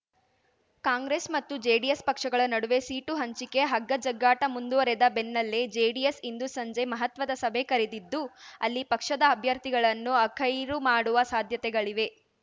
ಕಾಂಗ್ರೆಸ್ ಮತ್ತು ಜೆಡಿಎಸ್ ಪಕ್ಷಗಳ ನಡುವೆ ಸೀಟು ಹಂಚಿಕೆ ಹಗ್ಗ ಜಗ್ಗಾಟ ಮುಂದುವರೆದ ಬೆನ್ನಲ್ಲೇ ಜೆಡಿಎಸ್ ಇಂದು ಸಂಜೆ ಮಹತ್ವದ ಸಭೆ ಕರೆದಿದ್ದು ಅಲ್ಲಿ ಪಕ್ಷದ ಅಭ್ಯರ್ಥಿಗಳನ್ನು ಅಖೈರು ಮಾಡುವ ಸಾಧ್ಯತೆಗಳಿವೆ